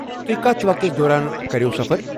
تُہۍ کتھ وقتس دوران کریٛووٕ سفر؟